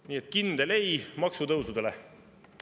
Nii et kindel ei maksutõusudele!